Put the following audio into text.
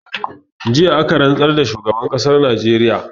Jiya aka rantsar da shugaban ƙasar najeriya